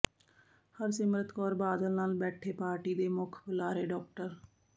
ਹਰਸਿਮਰਤ ਕੌਰ ਬਾਦਲ ਨਾਲ ਬੈਠੇ ਪਾਰਟੀ ਦੇ ਮੁੱਖ ਬੁਲਾਰੇ ਡਾ